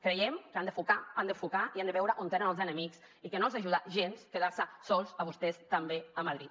creiem que han d’enfocar i han de veure on tenen els enemics i que no els ajuda gens quedar se sols a vostès també a madrid